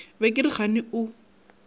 be ke re kgane o